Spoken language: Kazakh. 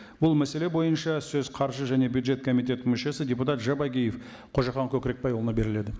бұл мәселе бойынша сөз қаржы және бюджет комитетінің мүшесі депутат жабағиев қожахан көкірекбайұлына беріледі